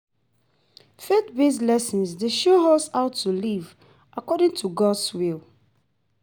Faith-based lessons dey show us how to live according to God’s will.